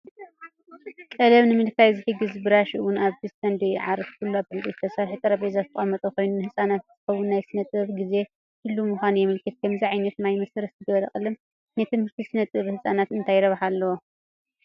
ቀለም ንምልካይ ዝሕግዝ ብራሽ እውን ኣብቲ ስቴንድ ይዓርፍ። ኩሉ ኣብ ዕንጨይቲ ዝተሰርሐ ጠረጴዛ ዝተቐመጠ ኮይኑ፡ ንህጻናት ዝኸውን ናይ ስነ-ጥበብ ግዜ ድሉው ምዃኑ የመልክት። ከምዚ ዓይነት ማይ መሰረት ዝገበረ ቀለም ንትምህርቲ ስነ-ጥበብ ህጻናት እንታይ ረብሓ ኣለዎ?